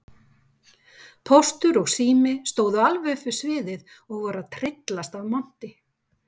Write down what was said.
Póstur og Sími stóðu alveg upp við sviðið og voru að tryllast af monti.